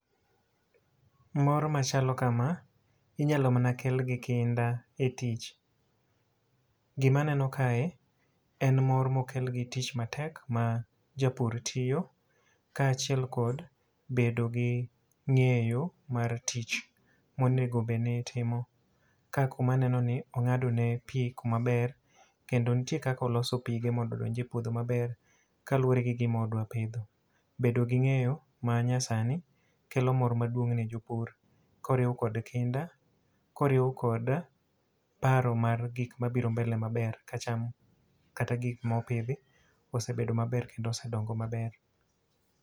Mor machalo kama, inyalo mana kel gi kinda e tich. Gima aneno kae, en mor ma okel gi tich matek, ma japur tiyo ka achiel kod bedo gi ngéyo mar tich ma onego bed ni itimo ka kuma aneno ni ongádo ne pi kuma ber. Kendo nitie kaka oloso pige mondo odonj e puodho maber kaluwore gi gima odwa pidho. Bedo gi ngéyo ma nyasani, kelo mor maduong' ne jopur, koriw kod kinda, koriw kod paro mar gik mabiro mbele maber, kacham, kata gik ma opidhi, osebedo maber kendo osedongo maber.